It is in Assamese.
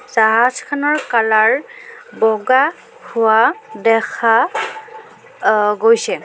জাহাজখনৰ কালাৰ বগা হোৱা দেখা অ গৈছে।